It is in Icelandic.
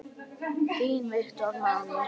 Þinn Viktor Máni.